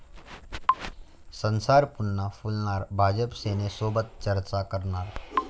संसार पुन्हा फुलणार, भाजप सेनेसोबत चर्चा करणार!